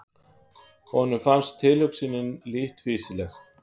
Honum fannst tilhugsunin lítt fýsileg.